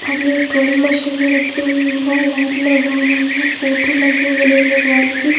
और electronic machine जो रखी हुई है लाइट लगा हुआ है फोटो लगी हुई गणेश भगवान की--